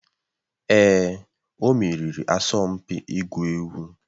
Èè, o meriri asọmpi ịgwu egwu.